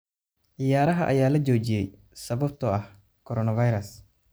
Ciyaaraha ayaa la joojiyey sababtoo ah coronavirus.